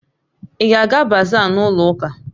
Ị ga-aga bazaa n'ụlọ ụka?